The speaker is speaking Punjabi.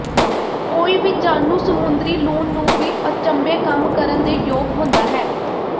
ਕੋਈ ਵੀ ਜਾਣੂ ਸਮੁੰਦਰੀ ਲੂਣ ਨੂੰ ਵੀ ਅਚੰਭੇ ਕੰਮ ਕਰਨ ਦੇ ਯੋਗ ਹੁੰਦਾ ਹੈ